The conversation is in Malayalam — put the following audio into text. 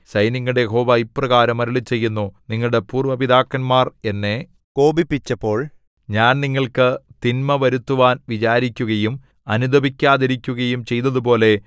സൈന്യങ്ങളുടെ യഹോവ ഇപ്രകാരം അരുളിച്ചെയ്യുന്നു നിങ്ങളുടെ പൂര്‍വ പിതാക്കന്മാർ എന്നെ കോപിപ്പിച്ചപ്പോൾ ഞാൻ നിങ്ങൾക്ക് തിന്മ വരുത്തുവാൻ വിചാരിക്കുകയും അനുതപിക്കാതിരിക്കുകയും ചെയ്തതുപോലെ